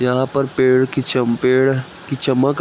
यहा पर पेड़ कि च पेड़ कि चमक --